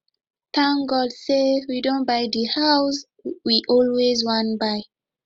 thank god say we don buy the house we always wan buy